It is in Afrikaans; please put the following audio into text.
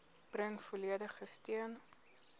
bring volledige steun